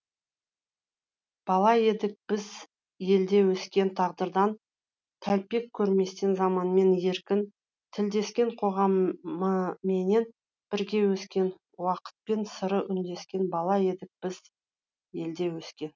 бала едік біз елде өскен тағдырдан тәлкек көрместен заманмен еркін тілдескен қоғамыменен бірге өскен уақытпен сыры үндескен бала едік біз елде өскен